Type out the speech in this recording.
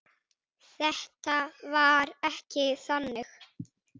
Þetta var ekki þannig.